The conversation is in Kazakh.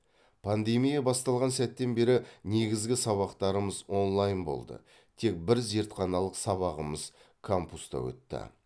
пандемия басталған сәттен бері негізгі сабақтарымыз онлайн болды тек бір зертханалық сабағымыз кампуста өтті